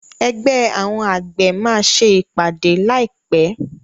Ẹgbẹ́ àwọn àgbẹ̀ máa ṣe ìpàdé láì pé.